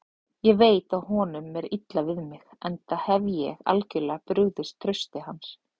Ég veit að honum er illa við mig, enda hef ég algjörlega brugðist trausti hans.